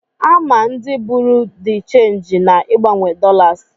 A ma ndị bụrụ dị chenji na-ịgbanwe dọlas.